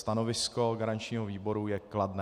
Stanovisko garančního výboru je kladné.